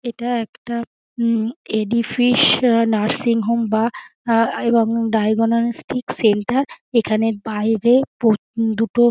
ইটা একটা উম এডি ফিশ নার্সিং হোম বা আই এবং ডাইগোনাস্তিক সেন্টার এখানে বাইরে প দুটো .--